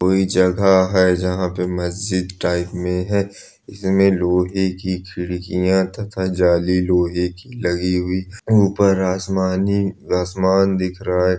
कोई जगह है जहाँ पे मस्जिद टाइप मैं है इस मैं लोहे की खिड़कियां तथा जाली लोहे की लगी हुई उपर आसमानी आसमान दिख रहा है।